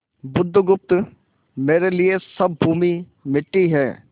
बुधगुप्त मेरे लिए सब भूमि मिट्टी है